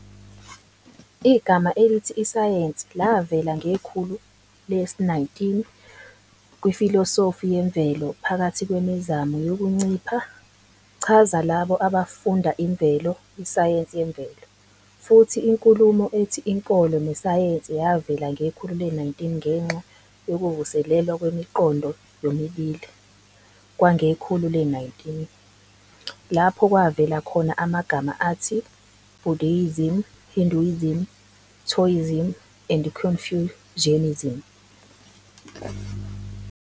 Igama elithi isayensi lavela ngekhulu le-19 kwifilosofi yemvelo phakathi kwemizamo yokuncipha chaza labo abafunda imvelo, isayensi yemvelo, futhi inkulumo ethi inkolo nesayensi yavela ngekhulu le-19 ngenxa yokuvuselelwa kwemiqondo yomibili. Kwangekhulu le-19 lapho kwavela khona amagama athi Buddhism, Hinduism, Taoism, and Confucianism.